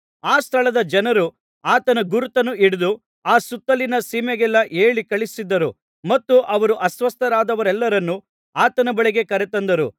ಆ ಸ್ಥಳದ ಜನರು ಆತನ ಗುರುತನ್ನು ಹಿಡಿದು ಆ ಸುತ್ತಲಿನ ಸೀಮೆಗೆಲ್ಲಾ ಹೇಳಿ ಕಳುಹಿಸಿದರು ಮತ್ತು ಅವರು ಅಸ್ವಸ್ಥರಾದವರೆಲ್ಲರನ್ನು ಆತನ ಬಳಿಗೆ ಕರೆತಂದರು